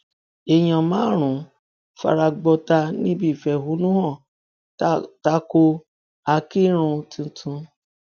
èèyàn márùnún fara gbọtà níbi ìfẹhónú hàn ta ko akinrun tuntun